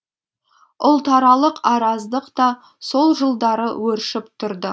ұлтаралық араздық та сол жылдары өршіп тұрды